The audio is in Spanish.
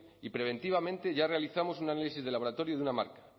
y preventivamente ya realizamos un análisis de laboratorio de una marca